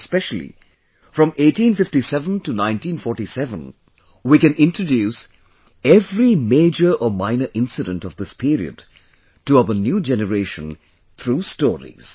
Especially, from 1857 to 1947, we can introduce every major or minor incident of this period to our new generation through stories